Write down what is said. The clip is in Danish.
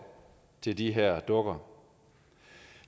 til de her dukker